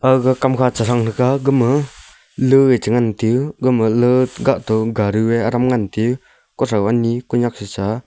aga kamkha chithangtaga gama luye chingantiyu gama lia kahto garu ye adam ngantiyu kothaw ani konyak cha.